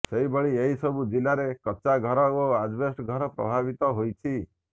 ସେହିଭଳି ଏହିସବୁ ଜିଲ୍ଲାରେ କଚ୍ଚା ଘର ଓ ଆଜବେଷ୍ଟସ୍ ଘର ପ୍ରଭାବିତ ହୋଇଛି